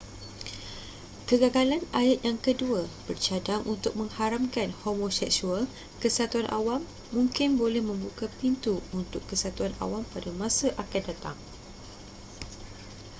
kegagalan ayat yang kedua bercadang untuk mengharamkan homoseksual kesatuan awam mungkin boleh membuka pintu untuk kesatuan awam pada masa akan datang